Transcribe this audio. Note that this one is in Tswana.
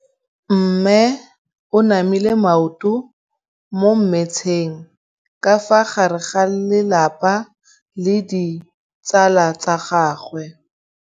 Mme o namile maoto mo mmetseng ka fa gare ga lelapa le ditsala tsa gagwe.